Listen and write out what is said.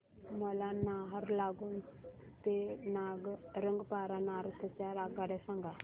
मला नाहरलागुन ते रंगपारा नॉर्थ च्या आगगाड्या सांगा